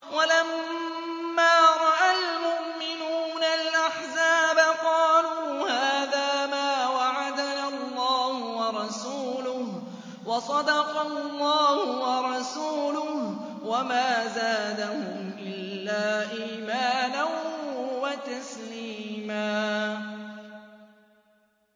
وَلَمَّا رَأَى الْمُؤْمِنُونَ الْأَحْزَابَ قَالُوا هَٰذَا مَا وَعَدَنَا اللَّهُ وَرَسُولُهُ وَصَدَقَ اللَّهُ وَرَسُولُهُ ۚ وَمَا زَادَهُمْ إِلَّا إِيمَانًا وَتَسْلِيمًا